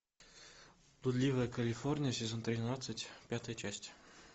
блудливая калифорния сезон тринадцать пятая часть